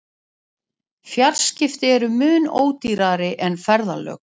Fjarskipti eru mun ódýrari en ferðalög.